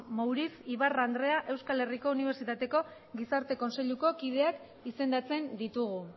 mouriz ibarra andrea euskal herriko unibertsitateko gizarte kontseiluko kideak izendatzen ditugu